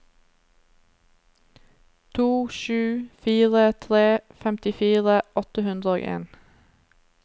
to sju fire tre femtifire åtte hundre og en